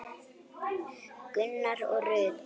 Gunnar og Rut.